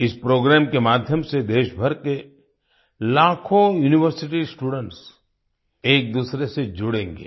इस प्रोग्राम के माध्यम से देशभर के लाखों यूनिवर्सिटी स्टूडेंट्स एकदूसरे से जुड़ेंगे